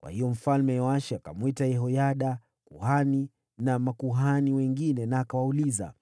Kwa hiyo Mfalme Yoashi akamwita Yehoyada kuhani na makuhani wengine, akawauliza,